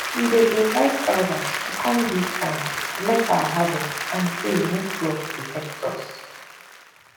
we dey invite elders to come give thanks bless our harvest and pray make god protect us